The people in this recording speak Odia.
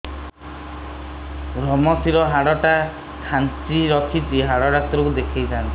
ଵ୍ରମଶିର ହାଡ଼ ଟା ଖାନ୍ଚି ରଖିଛି ହାଡ଼ ଡାକ୍ତର କୁ ଦେଖିଥାନ୍ତି